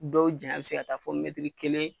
Dɔw janya be se ka taa fɔ kelen